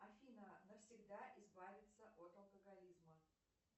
афина навсегда избавиться от алкоголизма